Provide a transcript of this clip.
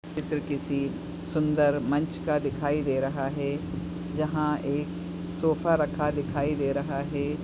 चित्र किसी सुंदर मंच का दिखाई दे रहा है जहा एक सोफ़ा रखा दिखाई दे रहा है।